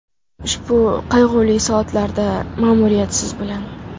Ushbu qayg‘uli soatlarda ma’muriyat siz bilan.